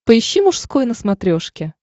поищи мужской на смотрешке